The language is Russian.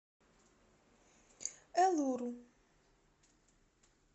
элуру